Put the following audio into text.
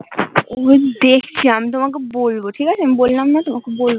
দেকছি আমি তোমাকে বলবো ঠিক আছে আমি বললাম না তোমাকে বলবো